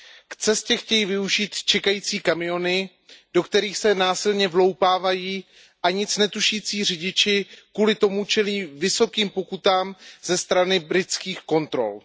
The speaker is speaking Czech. K cestě chtějí využít čekající kamiony, do kterých se násilně vloupávají a nic netušící řidiči kvůli tomu čelí vysokým pokutám ze strany britských kontrol.